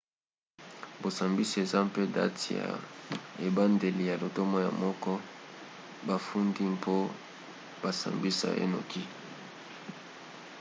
bosambisi eza mpe date ya ebandeli ya lotomo ya moto bafundi mpo basambisa ye noki